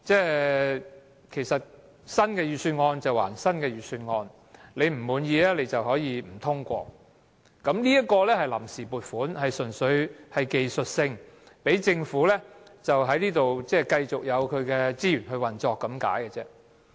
有人會說新的預算案歸新的預算案，議員不滿意可以不通過，但這是臨時撥款，純粹是技術性安排，讓政府繼續有資源運作而已。